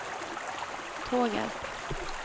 Tågarp